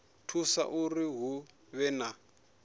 thusa uri hu vhe na